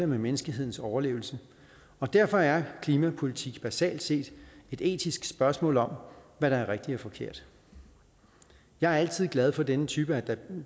med menneskehedens overlevelse og derfor er klimapolitik basalt set et etisk spørgsmål om hvad der er rigtigt og forkert jeg er altid glad for denne type af